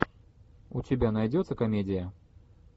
у тебя найдется комедия